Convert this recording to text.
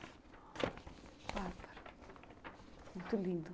Muito lindo.